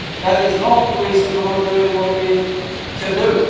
That is not the reason for not doing what we can